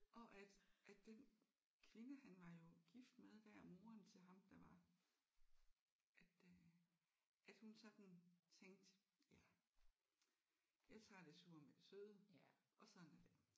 Og at at den kvinde han var jo gift med der moren til ham der var at øh at hun sådan tænkte ja jeg tager det sure med det søde og sådan er det